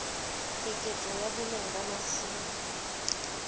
keketseho ya boleng ba masimo